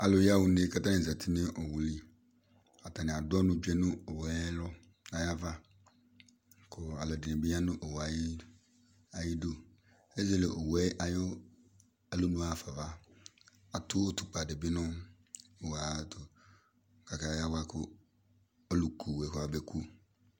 Alʋ yaɣa une, kʋ atanɩ zati nʋ owu yɛ li, atanɩ adʋ ɔnʋ tsue nʋ owu yɛ ayava, kʋ alʋ ɛdɩnɩ bɩ ya nʋ owu yɛ ayʋ idu, ezele owu yɛ ayʋ alonu yɛ ɣafa ava, atʋ utukpǝ dɩ bɩ nʋ owu yɛ ayʋ ɛtʋ, kʋ akayawa kʋ ɔlʋku owu yɛ kɔmabeku